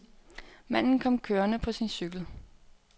Manden kom kørende på sin cykel.